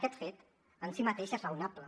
aquest fet en si mateix és raonable